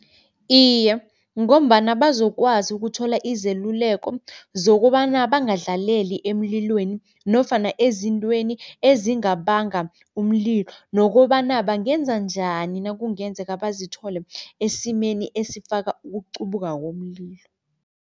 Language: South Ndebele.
Iye, ngombana bazokwazi ukuthola izeluleko zokobana bangadlaleli emlilweni nofana ezintweni ezingabanga umlilo nokobana bangenza njani nakungenzeka bazithole esimeni esifaka ukuqubuka komlilo.